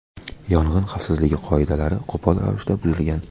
Yong‘in xavfsizligi qoidalari qo‘pol ravishda buzilgan.